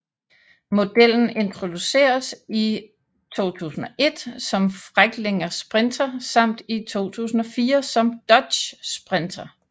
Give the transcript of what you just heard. Modellen introduceredes i 2001 som Freightliner Sprinter samt i 2004 som Dodge Sprinter